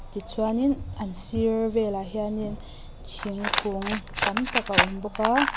tichuanin an sir velah hianin thingkung tam tak a awm bawk a.